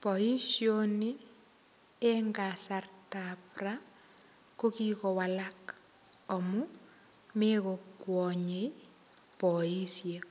Boishoni eng kasartap ra kokikowalak amu mekokwonyei boishek